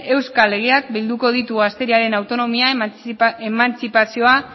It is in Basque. euskal legeak bilduko ditu gazteriaren autonomia emantzipazioa